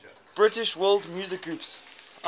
british world music groups